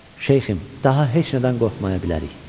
"Şeyxim, daha heç nədən qorxmaya bilərik.